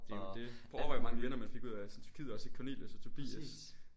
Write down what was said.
Det jo det. Prøv at overvej hvor mange venner man fik ud af sådan Tyrkiet også i Cornelius og Tobias